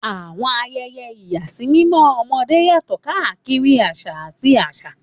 Àwọn ayẹyẹ ìyàsímímọ́ ọmọdé yàtọ̀ káàkiri àṣà àti àṣà.